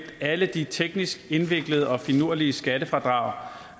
alle de teknisk indviklede og finurlige skattefradrag